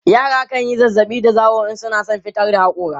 yara kanyi zazzaɓi da zawo in suna San fitar da hakori